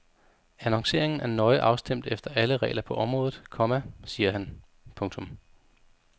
Annonceringen er nøje afstemt efter alle regler på området, komma siger han. punktum